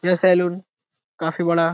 यह सैलून काफ़ी बड़ा --